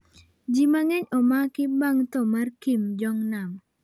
Ji mang'eny omaki bang' tho mar Kim Jong-nam